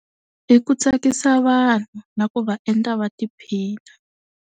Hi ku tsakisa vanhu na ku va endla va tiphina.